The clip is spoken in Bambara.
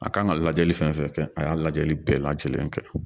A kan ka lajɛli fɛn fɛn kɛ a y'a lajɛli bɛɛ lajɛlen kɛ